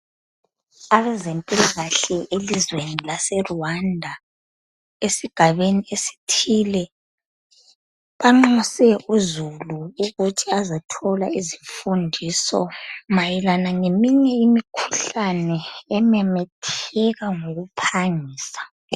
Abezempilakahle elizweni lase Rwanda esigabeni esithile banxuse uzulu ukuthi azethola izifundiso mayelana leminye imikhuhlane ememetheka ngokuphangisa.